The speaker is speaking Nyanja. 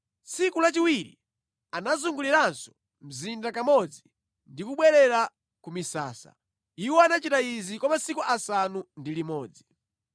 Tsiku lachiwiri anazunguliranso mzinda kamodzi ndi kubwerera ku misasa. Iwo anachita izi kwa masiku asanu ndi limodzi.